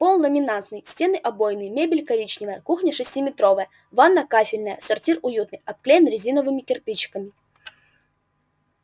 пол ламинатный стены обойные мебель коричневая кухня шестиметровая ванная кафельная сортир уютный обклеен резиновыми кирпичиками